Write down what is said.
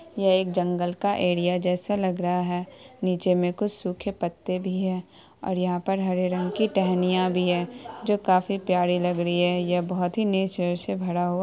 यह एक जंगल का एरिया जैसा लग रहा है नीचे में कुछ सूखे पत्ते भी है और यहाँ पर हरे रंग की टहनियाँ भी है जो काफी प्यारी लग रही है यह बहुत ही नेचर से भरा हुआ --